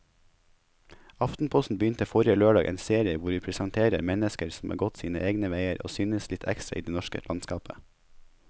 Aftenposten begynte forrige lørdag en serie hvor vi presenterer mennesker som har gått sine egne veier og synes litt ekstra i det norske landskapet.